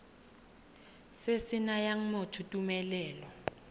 se se nayang motho tumelelo